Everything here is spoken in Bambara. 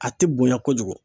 A tɛ bonya kojugu